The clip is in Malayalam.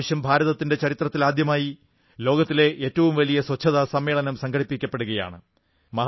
ഇപ്രാവശ്യം ഭാരതത്തിന്റെ ചരിത്രത്തിൽ ആദ്യമായി ലോകത്തിലെ ഏറ്റവും വലിയ സ്വച്ഛതാ സമ്മേളനം സംഘടിപ്പിക്കപ്പെടുകയാണ്